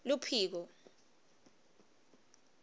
luphiko